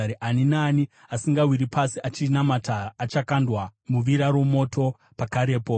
Ani naani asingawiri pasi achinamata achakandwa muvira romoto pakarepo.”